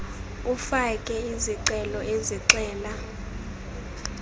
ufake izicelo ezixela